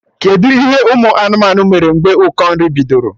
Kedụ ihe ụmụ anụmanụ mere mgbe ụkọ nri bidoro?